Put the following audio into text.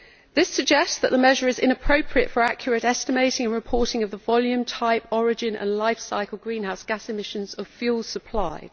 This suggests that the measure is inappropriate for accurate estimating and reporting of the volume, type, origin and lifecycle greenhouse gas emissions of the fuels supplied.